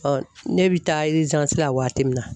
ne bi taa la waati min na